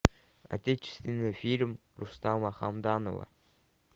отечественный фильм рустама хамдамова